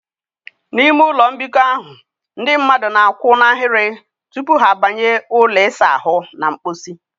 N'ime ụlọ mbikọ ahụ, ndị mmadụ na a kwụ n'ahịrị tupu ha banye ụlọ ịsa ahụ na mposi